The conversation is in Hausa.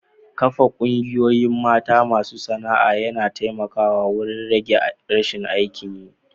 Kafa Ƙungiyoyin mata masu sana'a ya taimaka wurin rage rashin aikin yi.